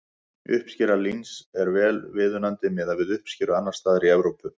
Uppskera líns er vel viðunandi miðað við uppskeru annars staðar í Evrópu.